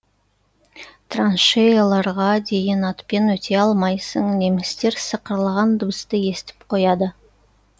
траншеяларға дейін атпен өте алмайсың немістер сықырлаған дыбысты естіп қояды